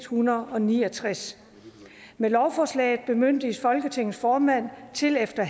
hundrede og ni og tres med lovforslaget bemyndiges folketingets formand til efter